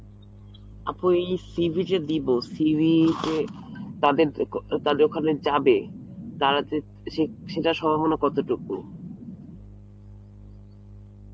আপু, এই CV যে দিবো CV তে তাদের যাবে তারা যে সে~ সেটার সম্ভাবনা কতটুকু?